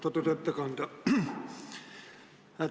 Austatud ettekandja!